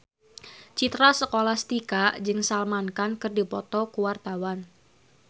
Citra Scholastika jeung Salman Khan keur dipoto ku wartawan